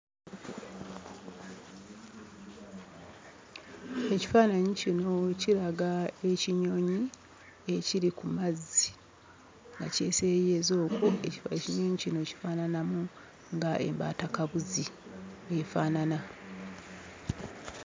Ekifaananyi kino kiraga ekinyonyi ekiri ku mazzi nga kiseeyeeyeza okwo. Ekinyonyi kino kifaananamu ng'embaatakabuzi bw'efaanana.